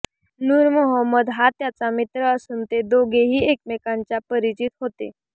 नूरमोहम्मद हा त्याचा मित्र असून ते दोघेही एकमेकांच्या परिचित होते